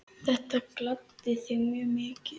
Þetta gladdi þig mjög mikið.